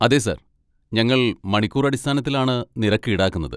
അതെ സർ, ഞങ്ങൾ മണിക്കൂർ അടിസ്ഥാനത്തിലാണ് നിരക്ക് ഈടാക്കുന്നത്.